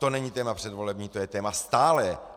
To není téma předvolební, to je téma stálé!